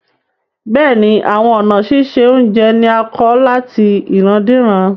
Bẹ́ẹ̀ni, awọn ọ̀na sísẹ ọ̀unjẹ ni à kọ̀ látì ìràndíràn